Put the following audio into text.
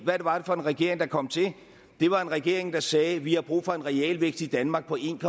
hvad var det for en regering der kom til det var en regering der sagde vi har brug for en realvækst i danmark på en